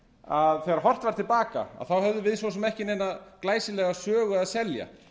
að þegar horft er til baka höfðu við svo sem ekki neina glæsilega sögu að selja